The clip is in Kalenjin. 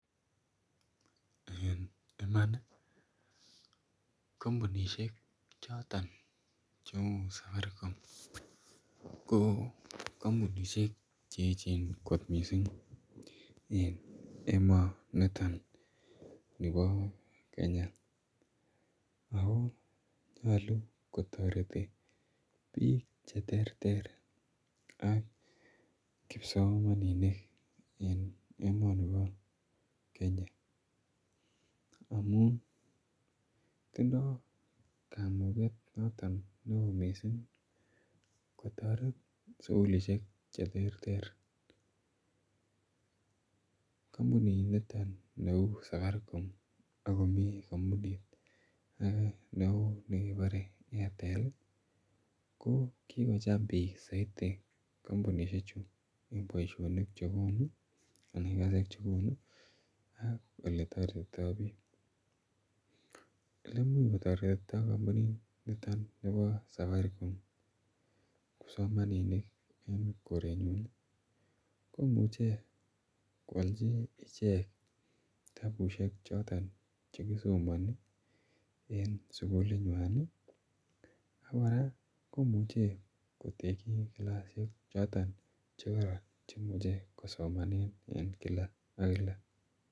Kampunisiek choton cheuu safaricom ih, ko kampunisiek choton cheechen kot missing en emoni bo Kenya. Eecchen kampunisiek chu kotienge icheket chekikotes musuaknotetab kasari en emoni. Ak kikong'ete icheket koib soet en me'ngik choton chebo kenya. Tuguk choton chei much koyai kampunisiek chu en bik ih anan kotaret komuche , kokachi anan kotaret kosomesanchi lakok anan kotaret sugulisiek choton chemi emoni ih. Kokachi anan kotekchi kilasisiekchoton chebo kibsomaninik ak kokochi tuguk cheterter